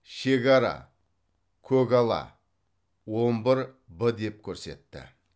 шегара көгала он бір б деп көрсетті